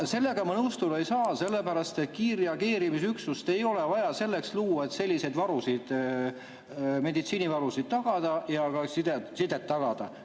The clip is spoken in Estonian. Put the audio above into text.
Sellega nõustuda ei saa, sellepärast et kiirreageerimisüksust ei ole vaja selleks luua, et selliseid varusid, meditsiinivarusid ja sidet tagada.